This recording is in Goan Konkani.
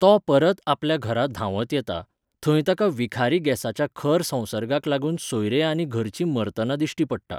तो परत आपल्या घरा धांवत येता, थंय ताका विखारी गॅसाच्या खर संसर्गाक लागून सोयरे आनी घरचीं मरतना दिश्टी पडटा.